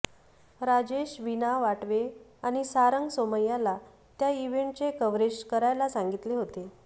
राजेशने विणा वाटवे आणि सारंग सोमय्याला त्या इव्हेंटचे कव्हरेज करायला सांगितले होते